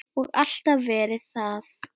Og alltaf verið það.